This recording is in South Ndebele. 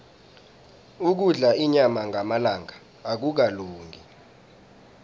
ukudla inyama ngamalanga akukalungi